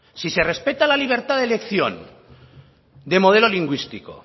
si se respeta la libertad de elección de modelo lingüístico